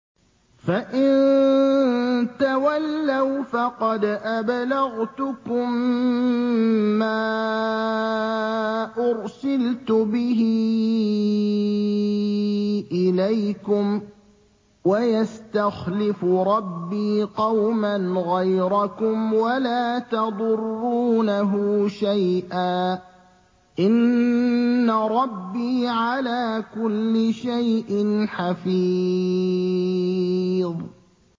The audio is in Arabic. فَإِن تَوَلَّوْا فَقَدْ أَبْلَغْتُكُم مَّا أُرْسِلْتُ بِهِ إِلَيْكُمْ ۚ وَيَسْتَخْلِفُ رَبِّي قَوْمًا غَيْرَكُمْ وَلَا تَضُرُّونَهُ شَيْئًا ۚ إِنَّ رَبِّي عَلَىٰ كُلِّ شَيْءٍ حَفِيظٌ